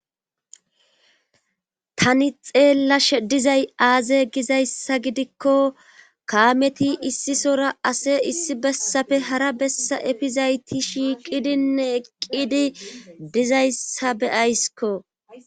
tani xeellash dizay aaze gizayssa gidikko kaameti issisora ase issi bessafe hara bessa efizayti shiiqidinne eqqidi dizayssa beyaysiko